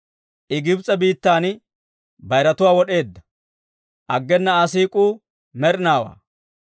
I Gibs'e biittan bayiratuwaa wod'eedda; aggena Aa siik'uu med'inaawaa.